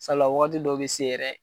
Saliya wagati dɔw be se yɛrɛ